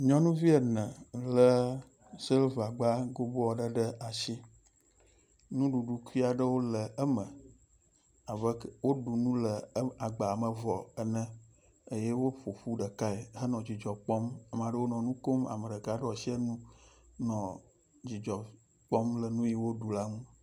Nyɔnuvi ene le silva gba gobo aɖe ɖe asi. Nuɖuɖu kui aɖewo le ame abe ke woɖu nu le em agba me vɔ ene eye woƒoƒu ɖekae henɔ dzidzɔ kpɔm. Ame aɖewo nɔ nu kom, ame ɖeka ɖɔ asi enu nɔ dzidzɔ kpɔm le nu yi woɖu la ŋu.